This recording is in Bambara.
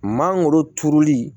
Mangoro turuli